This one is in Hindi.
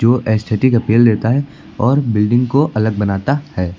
जो एस्थेटिक अपील देता है और बिल्डिंग को अलग बनाता है।